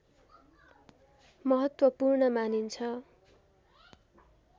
महत्त्वपूर्ण मानिन्छ